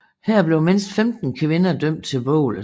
Her blev mindst 15 kvinder dømt til bålet